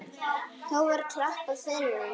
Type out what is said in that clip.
Þá var klappað fyrir honum.